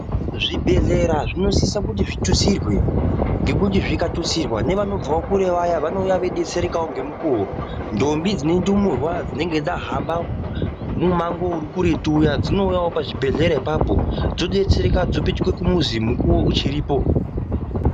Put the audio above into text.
Zvibhehlera zvinosisa kuti zvitutsirwe ngekuti zvikatutsirwa nevanobvawo kure vaya vanouya veidetserekawo ngemukuwo. Ntombi dzine ndumurwa dzinenge dzahamba mumwango uri kuretu uya dzinouyawo pazvibhehlera ipapo dzodetsereka dzopetuka kumuzi mukuwo uchiripo.